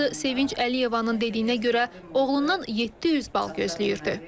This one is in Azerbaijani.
Anası Sevinç Əliyevanın dediyinə görə, oğlundan 700 bal gözləyirdi.